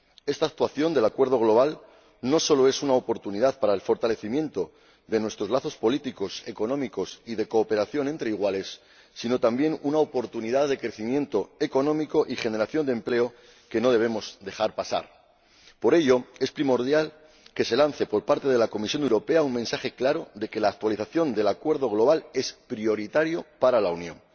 Esta actualización del Acuerdo global no solo es una oportunidad para el fortalecimiento de nuestro lazos políticos, económicos y de cooperación entre iguales, sino también una oportunidad de crecimiento económico y generación de empleo que no debemos dejar pasar. Por ello, es primordial que se lance por parte de la Comisión Europea un mensaje claro de que la actualización del Acuerdo global es prioritaria para la Unión.